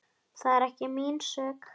Það er ekki mín sök.